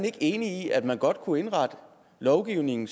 ikke enig i at man godt kunne indrette lovgivningen